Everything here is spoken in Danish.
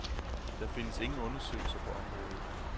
Der findes ingen undersøgelser på området.